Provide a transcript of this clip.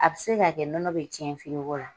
A bɛ se ka kɛ nɔnɔ bɛ cɛn firigo la.